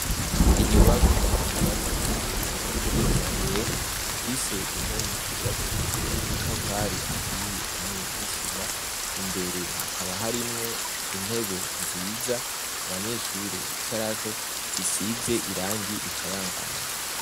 Inyubakwa yubatswe mu buryo bwa kija mbere ifise impome zubakeshejwe amatafari ahiye hamwe n'isima imbere hakaba harimwo intebe nziza abanyeshuri bicarako zisize irangi rikayangana.